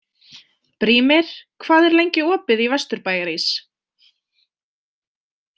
Brímir, hvað er lengi opið í Vesturbæjarís?